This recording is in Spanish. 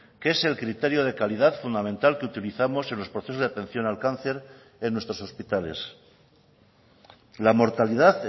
que es el criterio de calidad fundamental que utilizamos en los procesos de atención al cáncer en nuestros hospitales la mortalidad